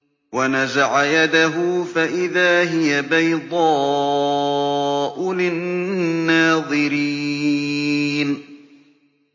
وَنَزَعَ يَدَهُ فَإِذَا هِيَ بَيْضَاءُ لِلنَّاظِرِينَ